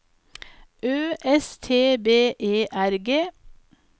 Ø S T B E R G